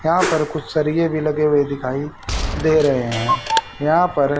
यहां पर कुछ सरिये भी लगे हुए दिखाई दे रहे हैं यहां पर --